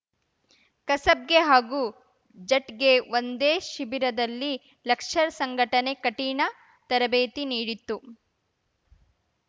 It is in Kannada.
ಕಸಬ್‌ಗೆ ಹಾಗೂ ಜಟ್‌ಗೆ ಒಂದೇ ಶಿಬಿರದಲ್ಲಿ ಲಷ್ಕರ್‌ ಸಂಘಟನೆ ಕಠಿಣ ತರಬೇತಿ ನೀಡಿತ್ತು